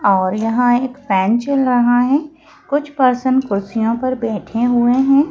और यहां एक फ़ेन चल रहा है कुछ पर्सन कुर्सियों पर बैठे हुए हैं।